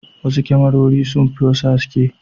Wasu kyamarori sun fi wasu haske.